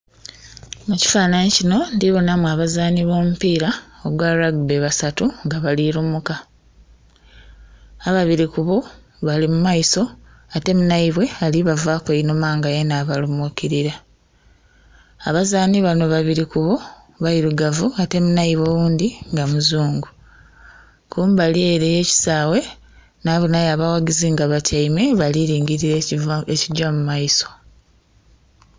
Mukifananhi muno ndhibonamu abazanhi bo mu pira ogwa ragibe basatu nga bali lumuka, ababiri ku bo bali mu maiso ate munhaibwe ali bavaku einhuma nga alibalumukirira. Abazanhi bano babiri ku bo beirugavu ate munhaibwe oghundhi nga muzungu, kumbali ere eye kisaghe nabonhayo abaghagizi nga batyaime bali lingilira ekigya mu maiso.